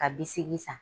Ka bisigi san